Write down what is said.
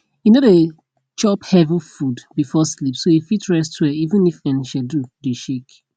e no dey chop heavy food before sleep so e fit rest well even if en schedule dey shake